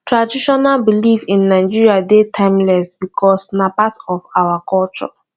traditional belief in nigeria de timeless because na part our culture